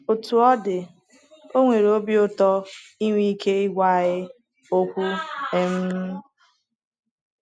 Otú ọ dị,o nwere obi ụtọ inwe ike ịgwa anyị “ okwu. um ”